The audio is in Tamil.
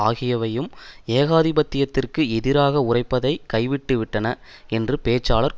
ஆகியவையும் ஏகாதிபத்தியத்திற்கு எதிராக உரைப்பதை கைவிட்டுவிட்டன என்று பேச்சாளர் கூறினார்